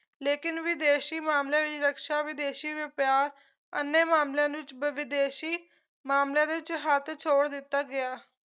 ਲੇਕਿਨ ਵਿਦੇਸ਼ੀ ਮਾਮਲੇ ਦੀ ਰਕਸ਼ਾ ਵਿਦੇਸ਼ੀ ਵਪਾਰ ਅਨੇ ਮਾਮਲਿਆਂ ਦੇ ਵਿੱਚ ਵਿਦੇਸ਼ੀ ਮਾਮਲਿਆਂ ਦੇ ਵਿੱਚ ਹੱਥ ਛੋੜ ਦਿੱਤਾ ਗਿਆ